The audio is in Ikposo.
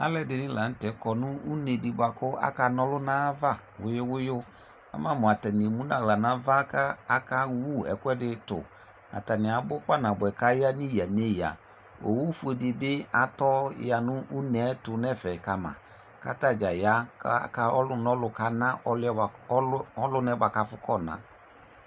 Alʋɛdɩnɩ la nʋtɛ kɔ nʋ unedɩ bʋakʋ akanɔlʋ n'ayava wʋyʋ wʋyʋ ; ama mʋ atanɩ emu n'ɣla n'ava ka akewu ɛkʋɛtʋ Atanɩ abʋ kpa nabʋɛ k'aya neyǝ neyǝ Owufuedɩ bɩ atɔya nʋ uneɛtʋ n'ɛfɛ ka ma; k'atadza ya ka ɔlʋ n'ɔlʋ kana ɔlʋɛ bʋa ɔlʋnaɛ k'afʋ k'ɔna